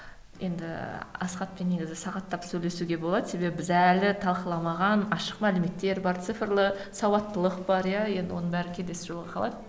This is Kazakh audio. енді асхатпен негізі сағаттап сөйлесуге болады себебі біз әлі талқыламаған ашық мәліметтер бар цифрлы сауаттылық бар иә енді оның бәрі келесі жолға қалады